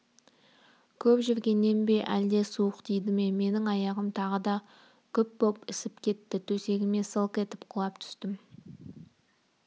көп жүргеннен бе әлде суық тиді ме менің аяғым тағы да күп боп ісіп кетті төсегіме сылқ етіп құлап түстім